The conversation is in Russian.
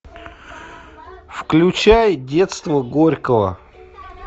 включай детство горького